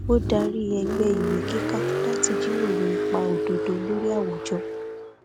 ó darí ẹgbẹ ìwé kíkà láti jíròrò ipa òdodo lórí àwùjọ